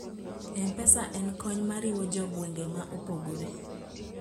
mpesa en kony mariwo jo gwenge maopogore